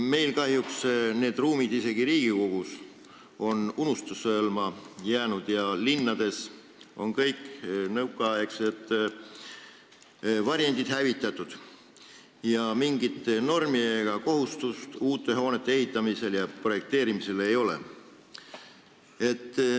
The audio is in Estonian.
Meil on kahjuks need ruumid isegi Riigikogus unustuse hõlma jäänud, linnades on kõik nõukaaegsed varjendid hävitatud ja mingit normi ega kohustust uute hoonete ehitamisel ja projekteerimisel ei ole.